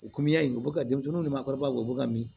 U kɔmi ya in u bɛ ka denmisɛnninw ni maakɔrɔbaw u bɛ ka mi